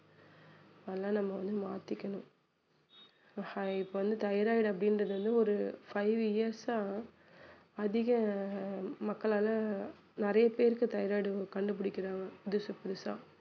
அதெல்லாம் நம்ம வந்து மாத்திக்கணும் இப்ப வந்து தைராய்டு அப்படின்றது வந்து ஒரு five years ஆ அதிக அஹ் மக்களால நிறைய பேருக்கு தைராய்டு கண்டு பிடிக்கிறாங்க புதுசு புதுசா